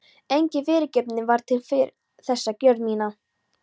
Engin fyrirgefning var til fyrir þessa gjörð mína.